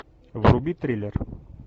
вруби триллер